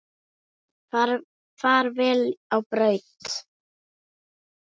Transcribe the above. Far vel á braut.